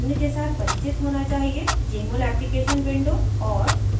* jmol application window और